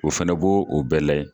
O fɛnɛ b'o o bɛɛ layɛ.